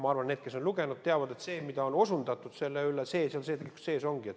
Ma arvan, et need, kes on lugenud, teavad, et see, millele on osutatud, seal sees ongi.